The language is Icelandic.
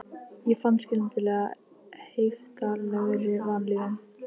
Ég fann skyndilega fyrir heiftarlegri vanlíðan.